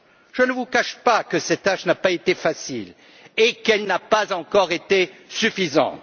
Je ne vous cache pas que cette tâche n'a pas été facile et qu'elle n'a pas encore été suffisante.